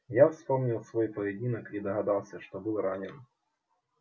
я вспомнил свой поединок и догадался что был ранен